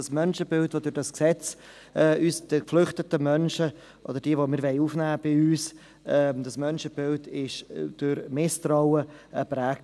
Das Menschenbild von geflüchteten Menschen oder jenen, die wir bei uns aufnehmen wollen, ist durch dieses Gesetz von ist von Misstrauen geprägt.